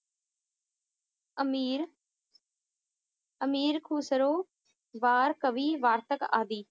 ਅਮੀਰ ਅਮੀਰ ਖੁਸਰੋ, ਬਾਰ ਕਵੀ ਵਾਰਤਕ ਆਦਿ